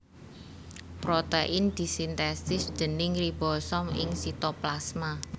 Protein disintesis déning ribosom ing sitoplasma